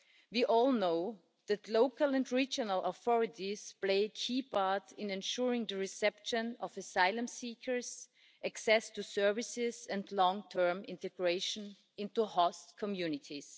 We all know that local and regional authorities play a key part in ensuring the reception of asylum seekers' access to services and long-term integration into host communities.